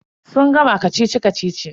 Sun gama kacici-kacici.